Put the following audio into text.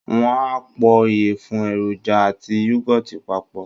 Wọ́n á po ìyẹ̀fun, èròjà àti yúgọ́ọ̀tì papọ̀